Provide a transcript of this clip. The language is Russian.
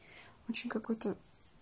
очень какой-то